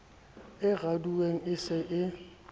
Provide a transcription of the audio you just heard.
e raduweng e se e